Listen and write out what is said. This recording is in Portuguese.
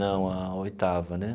Não, a oitava, né?